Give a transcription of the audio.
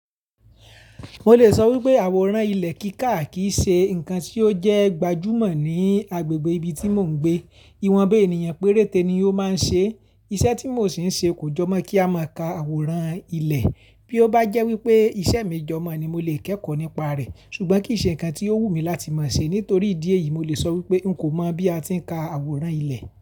Mo lè sọ wípé àwòrán ilẹ̀ kíkà kìí ṣe ǹkan tí ó jẹ́ gbajúmọ̀ ní agbègbè ibi tí mò ń gbé. Iwọnba ènìyàn péréte ni ó máa ń ṣe. Iṣẹ́ tí mò ń ṣe kò jọmọ́ kí a máa ka àwòrán ilẹ̀. Bí ó bá jẹ́ wípé iṣẹ́ mi jọmọ́ ni mo lè kẹ́kọ̀ọ́ nípa rẹ̀. Ṣùgbọ́n kì í ṣe ǹkan tí ó wù mí láti máa ṣe. Nítorí ìdí èyí, mo lè sọ wípé n kò mọ̀ bí a ti ń ka àwòrán ilẹ̀